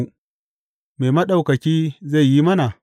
Me Maɗaukaki zai yi mana?’